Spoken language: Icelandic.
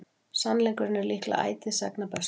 sannleikurinn er líklega ætíð sagna bestur